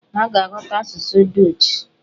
Ha ga-aghọta asụsụ dọọch.